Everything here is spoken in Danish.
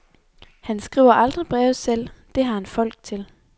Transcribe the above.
Han skriver aldrig breve selv, det har han folk til.